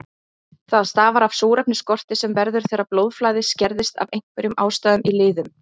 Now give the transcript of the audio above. Það stafar af súrefnisskorti sem verður þegar blóðflæði skerðist af einhverjum ástæðum í liðum.